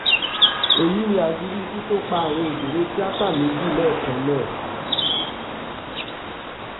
èyí ni àṣírí ikú tó pa àwọn òṣèré tíáta méjì lẹ́ẹ̀kan náà